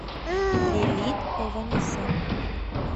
лилит ованесян